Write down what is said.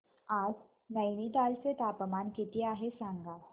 आज नैनीताल चे तापमान किती आहे सांगा